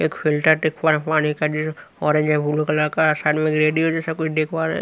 एक